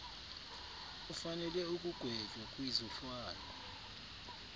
ufanele ukugwetywa kwizohlwayo